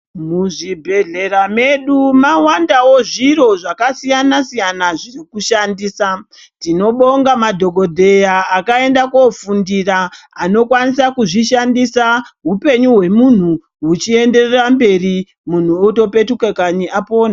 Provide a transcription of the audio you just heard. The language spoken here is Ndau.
Muzvibhehlera mwedu mwawandawo zviro zvakasiyana siyana zvekushandisa. Tinobonga madhokodheya akaenda kwofundira anokwanisa kuzoishandisa hupenyu hwemunhu huchienderera mberi muntu otopetuka kanyi apona.